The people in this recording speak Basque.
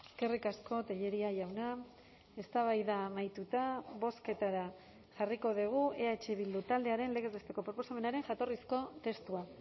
eskerrik asko tellería jauna eztabaida amaituta bozketara jarriko dugu eh bildu taldearen legez besteko proposamenaren jatorrizko testua